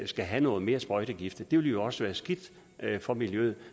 skal have noget mere sprøjtegift det ville også være skidt for miljøet